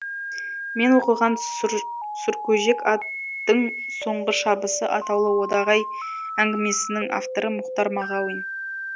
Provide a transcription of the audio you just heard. мен оқыған сұр сұркөжек аттың соңғы шабысы атаулы одағай әңгімесінің авторы мұхтар мағауин